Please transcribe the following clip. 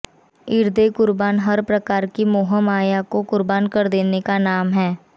ईदे कुर्बान हर प्रकार की मोहमाया को कुर्बान कर देने का नाम है